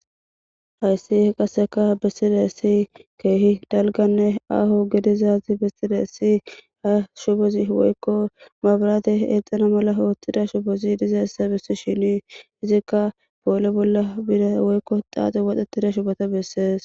hayssi qasseka besside si keehi dalganne aho gedizaazi besside si ha shubozi woykko maabraate eexana mala oottida shubozi dizaessa bessi shinii izikka boole bolla bida woykko xaaxe waxetida shubota beessees